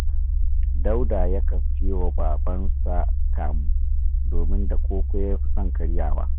Dauda yakan siyo wa babansa kamu, domin da koko ya fi son karyawa